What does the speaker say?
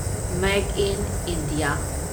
make in India